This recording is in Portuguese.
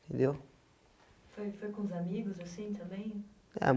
entendeu? Foi, foi com os amigos assim também? É